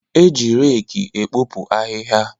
E ji reki ekpopu ahịhịa.